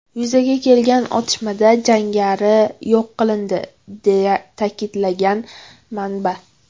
Yuzaga kelgan otishmada jangari yo‘q qilindi”, deya ta’kidlagan manba.